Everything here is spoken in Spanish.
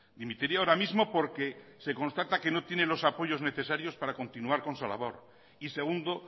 dimitiría ahora mismo porque se constata que no tiene los apoyos necesarios para continuar con su labor y segundo